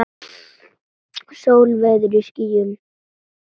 Sól veður í skýjum.